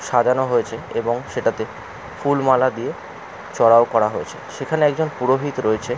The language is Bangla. সাজানো হয়েছে এবং সেটাতে ফুলমালা দিয়ে চড়াও করা হয়েছে। সেখানে একজন পুরোহিত রয়েছে ।